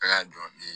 A y'a jɔ ne ye